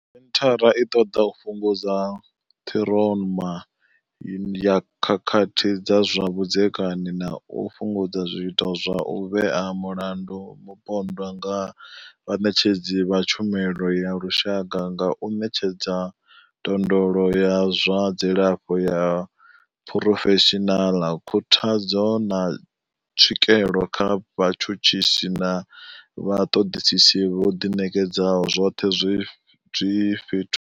Senthara i ṱoḓa u fhungudza ṱhiroma ya khakhathi dza zwa vhudzekani na u fhungudza zwiito zwa u vhea mulandu mupondwa nga vhaṋetshedzi vha tshumelo ya lushaka nga u ṋetshedza ndondolo ya zwa dzilafho ya phurofeshinala, khuthadzo, na tswikelo kha vhatshutshisi na vhaṱoḓisi vho ḓi ṋekedzaho, zwoṱhe zwi fhethu.